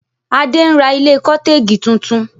Adé ń ra ilé cotegi tuntun